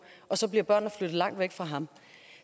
og så bliver børnene flyttet langt væk fra ham